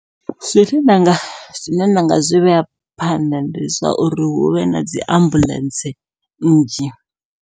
Zwine nda nga zwine nda nga zwi vhea phanḓa ndi zwauri huvhe na dzi ambuḽentse nnzhi.